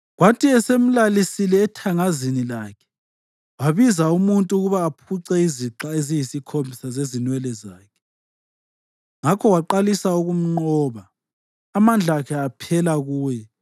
Kwathi esemlalisile ethangazini lakhe, wabiza umuntu ukuba aphuce izixha eziyisikhombisa zezinwele zakhe, ngakho waqalisa ukumnqoba. Amandla akhe aphela kuye.